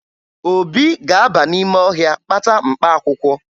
Obi ga-aba n'ime ọhịa kpata mkpaakwụkwọ